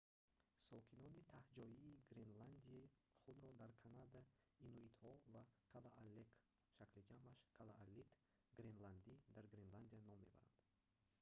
сокинонии таҳҷоии гренландия худро дар канада инуитҳо ва калааллек шакли ҷамъаш калааллит гренландӣ дар гренландия ном мебаранд